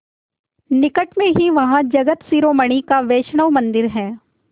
निकट में ही वहाँ जगत शिरोमणि का वैष्णव मंदिर है